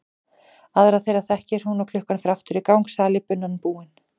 Aðra þeirra þekkir hún og klukkan fer aftur í gang, salíbunan búin.